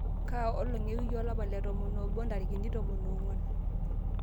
kaa olong' ewiki olapa letomon oobo intarikini tomon oong'uan